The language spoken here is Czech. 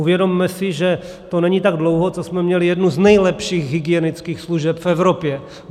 Uvědomme si, že to není tak dlouho, co jsme měli jednu z nejlepších hygienických služeb v Evropě.